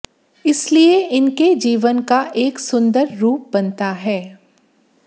इसलिए इनके जीवन का एक सुंदर रूप बनता है